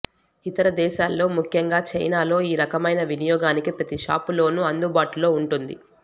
ఇతర దేశాల్లో ముఖ్యంగా చైనాలో ఈ రకమైన వినియోగానికి ప్రతి షాపులోను అందుబాటులో ఉంటుంది